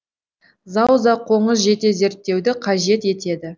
зауза қоңыз жете зерттеуді қажет етеді